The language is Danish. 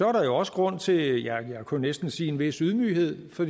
er der også grund til ja jeg kunne næsten sige en vis ydmyghed for